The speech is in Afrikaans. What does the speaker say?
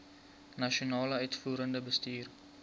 nasionale uitvoerende bestuur